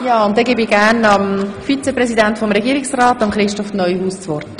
Nun hat Regierungsrat Neuhaus das Wort.